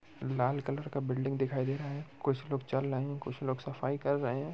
लाल colour का building दिखाय दे रहा है कुछ लोग चल रहे हैं सफाई कर रहे है।